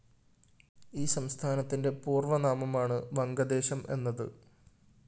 ഈ സംസ്ഥാനത്തിന്റെ പൂര്‍വനാമമാണ് വംഗദേശം എന്നത്